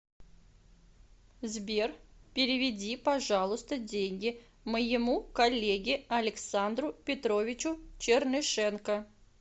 сбер переведи пожалуйста деньги моему коллеге александру петровичу чернышенко